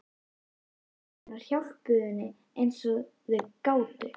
Foreldrar hennar hjálpuðu henni eins og þau gátu.